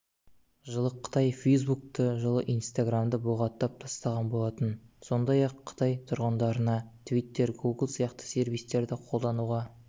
жылы қытай фейсбукты жылы инстаграмды бұғаттап тастаған болатын сондай-ақ қытай тұрғындарына твиттер гугл сияқты сервистерді қолдануға